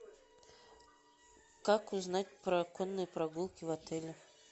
как узнать про конные прогулки в отеле